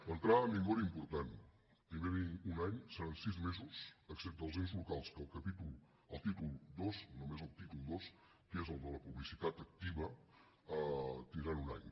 l’entrada en vigor important primer dir un any seran sis mesos excepte els ens locals que al títol dos només al títol dos que és el de la publicitat activa tindran un any